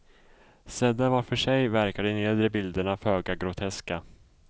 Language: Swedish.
Sedda var för sig verkar de nedre bilderna föga groteska.